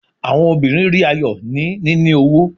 Awọn obirin ri ayọ ni nini owo